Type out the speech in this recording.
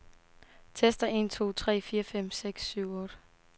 Tester en to tre fire fem seks syv otte.